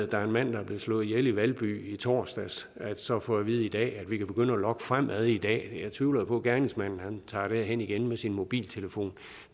der er en mand der er blevet slået ihjel i valby i torsdags altså at få at vide at vi kan begynde at logge fremadrettet i dag jeg tvivler jo på at gerningsmanden tager derhen igen med sin mobiltelefon